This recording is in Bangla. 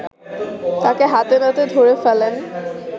তাকে হাতেনাতে ধরে ফেলেন